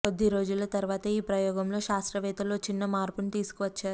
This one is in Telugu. కొద్ది రోజుల తరువాత ఈ ప్రయోగంలో శాస్త్రవేత్తలు ఓ చిన్న మార్పుని తీసుకువచ్చారు